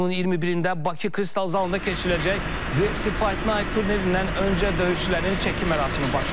İyunun 21-də Bakı Kristal zalında keçiriləcək UFC Fight Night turnirindən öncə döyüşçülərin çəki mərasimi başlayıb.